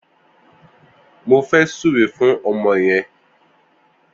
Mó fè sùré fùn ọmọ yèn